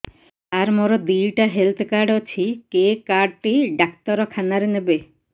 ସାର ମୋର ଦିଇଟା health card ଅଛି କେ କାର୍ଡ ଟି ଡାକ୍ତରଖାନା ରେ ନେବେ